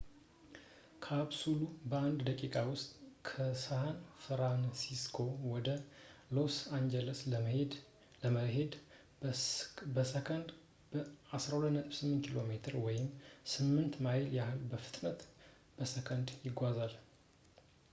ካፕሱሉ በአንድ ደቂቃ ውስጥ ከሳን ፍራንሲስኮ ወደ ሎስ አንጀለስ ለመሄድ በሰከንድ በ 12.8 ኪ.ሜ ወይም 8 ማይል ያህል ፍጥነት በሰከንድ ይጓዛል